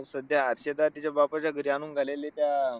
सध्या हर्षदा तिच्या बापाच्या घरी आणून राहिलेली तर,